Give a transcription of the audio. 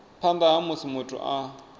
phanḓa ha musi muthu a